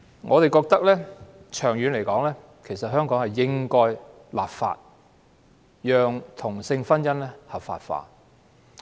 我們認為，長遠而言香港應該立法，讓同性婚姻合法化。